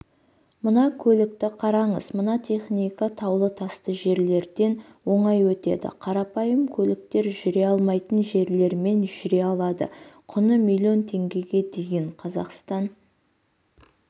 мына көлікті қараңыз мына техника таулы-тасты жерлерден оңай өтеді қарапайым көліктер жүре алмайтын жерлермен жүре алады құны миллион теңгеге дейін қазақстан